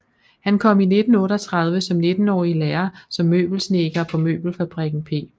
Han kom i 1938 som nittenårig i lære som møbelsnedker på møbelfabrikken P